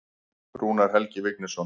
Rúnar Helgi Vignisson.